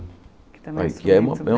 Que também instrumento bem. Aqui é